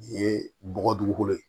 Nin ye bɔgɔ dugukolo ye